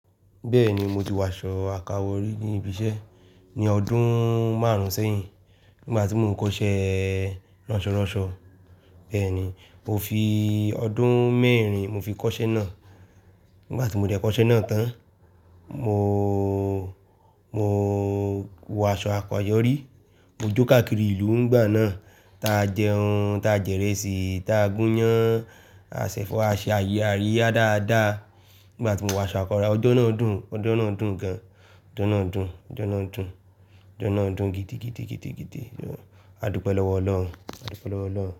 Bẹ́ẹ̀ni, mo ti wọ aṣọ àká wò rí níbi iṣẹ́ ní ọdún márùn-ún sẹ́yìn, nígbà tí mò ń kọ́ṣẹ́ ránsọranṣọ. Bẹ́ẹ̀ni, mo fi ọdún mẹ́rin mo fi kọ́ṣẹ́ náà. Nígbà tí mo dẹ́ kọ́ṣẹ́ náà tán, mo, mo wọ aṣọ àko ayọ́ rí. Mo jó káàkiri ìlú ń gbà náà. Ta jẹun, ta jẹ ìrẹsì, ta gún iyán, a ṣẹ̀fọ́ ase aríyá dáa dáa. Nígbà tí mo wọ aṣọ àko ra ọjọ́ náà dùn, ọjọ́ náà dùn gan. Ọjọ́ náà dùn, ọjọ́ náà dùn, ọjọ́ náà dùn gidi, gidi, gidi, gidi. A dúpẹ́ lọ́wọ́ Ọlọ́run, a dúpẹ́ lọ́wọ́ Ọlọ́run.